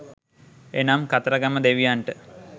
එනම් කතරගම දෙවියන්ට